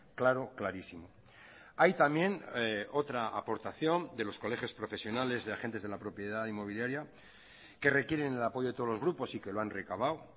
claro clarísimo hay también otra aportación de los colegios profesionales de agentes de la propiedad inmobiliaria que requieren el apoyo de todos los grupos y que lo han recabado